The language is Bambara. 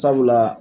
Sabula